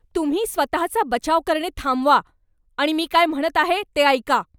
तुम्ही स्वतहाचा बचाव करणे थांबवा आणि मी काय म्हणत आहे ते ऐका.